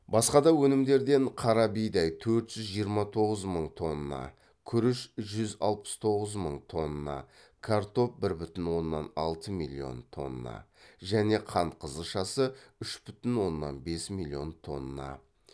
басқада өнімдерден қара бидай төқрт жүз жиырма тоғыз мың тонна күріш жүз алпыс тоғз мың тоннан картоп бір бүтін оннан алты миллион тонна және қант қызылшасы үш бүтін оннан бес миллион тонна